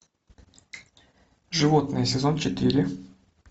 животные сезон четыре